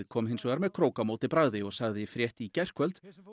kom hins vegar með krók á móti bragði og sagði frétt í gærkvöld